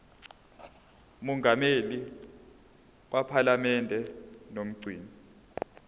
mongameli wephalamende nomgcini